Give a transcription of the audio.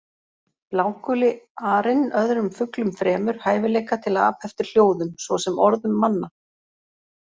Bláguli arinn öðrum fuglum fremur hæfileika til að apa eftir hljóðum, svo sem orðum manna.